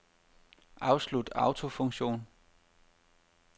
Afslut autofunktion.